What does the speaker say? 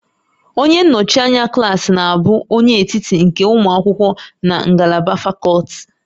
Onye nnọchi anya klaasị na-abụ onye etiti nke ụmụ akwụkwọ na ngalaba fakọlti